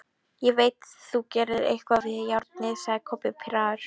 Ég veit þú gerðir eitthvað við járnið, sagði Kobbi pirraður.